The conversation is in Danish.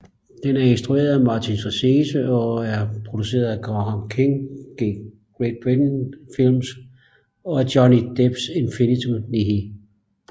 Den er instrueret af Martin Scorsese og er produceret af Graham Kings GK Films og Johnny Depps Infinitum Nihil